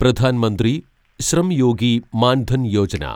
Pradhan Mantri Shram Yogi Maan Dhan Yojana